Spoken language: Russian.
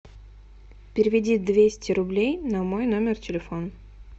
переведи двести рублей на мой номер телефона